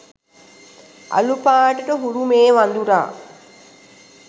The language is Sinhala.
අළු පාටට හුරු මේ වඳුරා